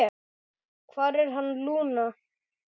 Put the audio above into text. Hvar er hann, Lúna?